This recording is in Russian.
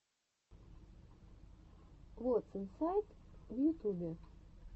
вотс инсайд в ютубе